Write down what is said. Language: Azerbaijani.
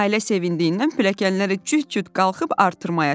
Nailə sevindiğinden pilləkənləri cüt-cüt qalxıb artırmaya çıxdı.